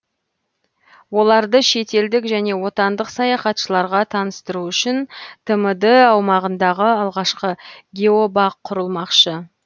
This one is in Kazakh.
оларды шетелдік және отандық саяхатшыларға таныстыру үшін тмд аумағындағы алғашқы геобақ құрылмақшы